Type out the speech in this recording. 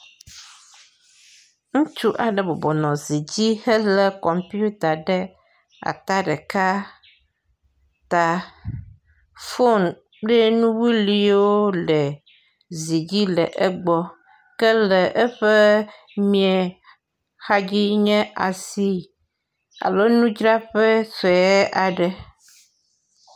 aƒetɔ aɖe ɖo fiase vi aɖe yi ke le ekplɔ dzi ya wo nuɖuɖu vovovowo dzram ale be eɖo sola wɔƒe hã aleke gbegbe be e solagba zam kɔ foni kple laptopwo dzadim.